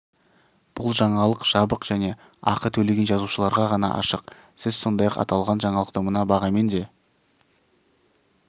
бұл жаңалық жабық және ақы төлеген жазылушыларға ғана ашық сіз сондай-ақ аталған жаңалықты мына бағамен де